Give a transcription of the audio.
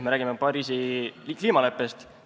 Ma räägin Pariisi kliimaleppest.